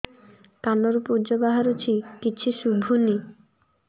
କାନରୁ ପୂଜ ବାହାରୁଛି କିଛି ଶୁଭୁନି